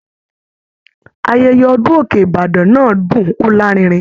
Ayẹyẹ ọdun òkè ìbàdàn náà dún o larinrin.